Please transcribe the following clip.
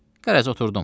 Qərəz, oturdum.